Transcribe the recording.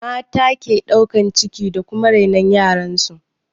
Mata ke ɗaukan ciki da kuma rainon yaran su